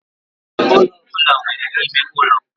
Ụlọ ọ bụla nwere ime ụlọ.